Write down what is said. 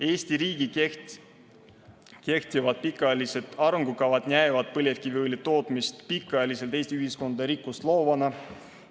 Eesti riigi kehtivad pikaajalised arengukavad näevad põlevkiviõli tootmist pikaajaliselt Eesti ühiskonnale rikkust loovana.